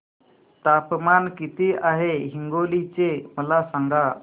तापमान किती आहे हिंगोली चे मला सांगा